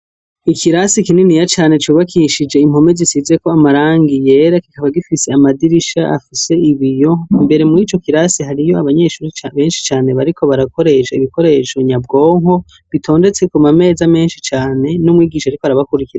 Ikirasi kininiya cane cubakishije impome zisizeko amarangi yera , kikaba gifise amadirisha afise ibiyo ,imbere murico kirasi hariyo abanyeshure benshi cane bariko barakoresha ibikoresho nyabwonko bitondetse kumameza menshi cane n'umwigisha arikw'arabakwirikira